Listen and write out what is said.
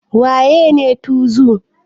Wa yene tuzu?